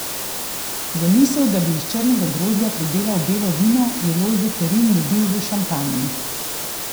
Zamisel, da bi iz črnega grozdja pridelal belo vino je Lojze Kerin dobil v Šampanji.